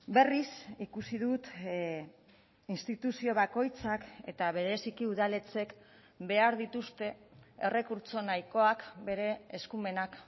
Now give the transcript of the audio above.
berriz ikusi dut instituzio bakoitzak eta bereziki udaletxeek behar dituzte errekurtso nahikoak bere eskumenak